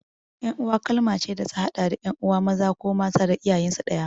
Ƴan'uwa kalma ce da ta haɗa da ƴan'uwa maza ko matan da iyayensu ɗaya.